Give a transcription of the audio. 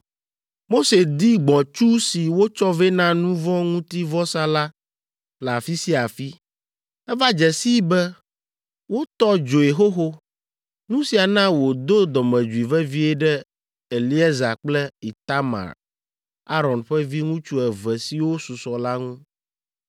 Mose di gbɔ̃tsu si wotsɔ vɛ na nu vɔ̃ ŋuti vɔsa la le afi sia afi. Eva dze sii be wotɔ dzoe xoxo! Nu sia na wòdo dɔmedzoe vevie ɖe Eleaza kple Itamar, Aron ƒe viŋutsu eve siwo susɔ la ŋu.